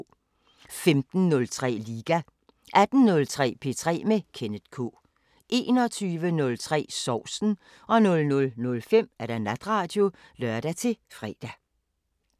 15:03: Liga 18:03: P3 med Kenneth K 21:03: Sovsen 00:05: Natradio (lør-fre)